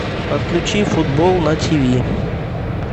подключи футбол на ти ви